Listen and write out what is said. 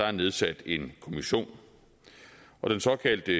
er nedsat en kommission og den såkaldte